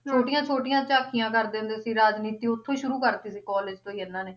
ਛੋਟੀਆਂ ਛੋਟੀਆਂ ਝਾਕੀਆਂ ਕਰਦੇ ਹੁੰਦੇ ਸੀ ਰਾਜਨੀਤੀ ਓਥੋਂ ਹੀ ਸ਼ੁਰੂ ਕਰਤੀ ਸੀ college ਤੋਂ ਹੀ ਇਹਨਾਂ ਨੇ